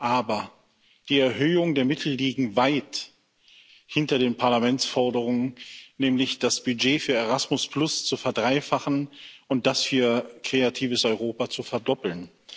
Aber die Erhöhungen der Mittel liegen weit hinter den Parlamentsforderungen, nämlich das Budget für Erasmus zu verdreifachen und das für Kreatives Europa zu verdoppeln.